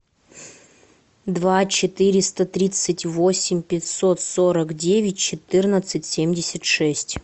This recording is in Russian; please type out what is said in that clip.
два четыреста тридцать восемь пятьсот сорок девять четырнадцать семьдесят шесть